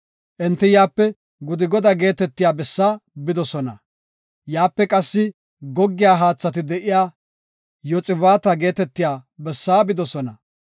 Enti yaape Gudgoda geetetiya bessa bidosona; yaape qassi goggiya haathati de7iya Yoxibaata geetetiya bessa bidosona.